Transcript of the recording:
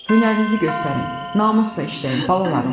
Hünərinizi göstərin, namusla işləyin, balalarım!